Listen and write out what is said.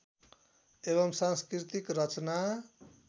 एवं सांस्कृतिक रचना